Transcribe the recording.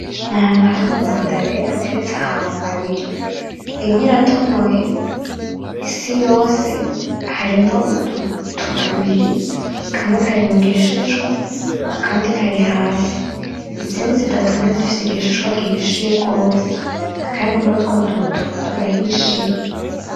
Ni ahantu hari amamandarena ateretse ahantu abiri imwe iratonoye siyose harimwo udusate tubiri kamwe kari mugishishwa akandi kari hasi, izindi zidatonoye zifise igishishwa gihishiye gose kandi nutwo duto turahishiye.